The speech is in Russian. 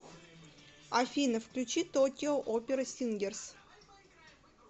афина включи токио опера сингерс